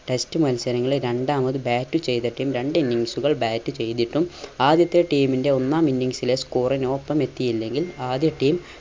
test മത്സരങ്ങളിൽ രണ്ടാമത് bat ചെയ്ത team രണ്ട് innings കൾ bat ചെയ്തിട്ടും ആദ്യത്തെ team ന്റെ ഒന്നാം innings ലെ score ന് ഒപ്പമെത്തിയില്ലെങ്കിൽ ആദ്യ team